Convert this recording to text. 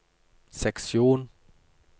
seksjon